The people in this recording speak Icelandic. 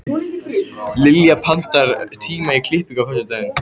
Liljar, pantaðu tíma í klippingu á föstudaginn.